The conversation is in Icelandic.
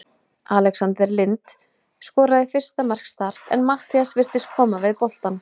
Alexander Lind skoraði fyrsta mark Start en Matthías virtist koma við boltann.